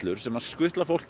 sem skutla fólki